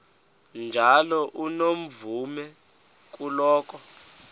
njalo unomvume kuloko